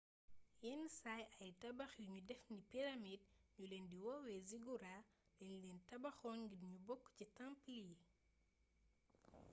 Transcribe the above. yenn saay ay tabax yuñu def ni pyramide ñu leen di woowee zigourats dañ leen tabaxoon ngir ñu bokk ci temple yi